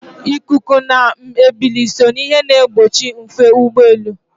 Ikuku na ebili so n'ihe na-egbochi ufe ụgbọelu.